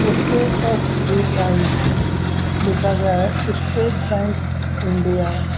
उसपे एस_बी_आई लिखा गया है स्टेट बैंक इंडिया ।